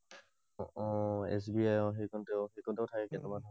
O S B I অ সেই কণতে। সেই কণতে থাকে কেইটামান।